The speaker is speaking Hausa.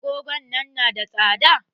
Agogon nan na da tsada?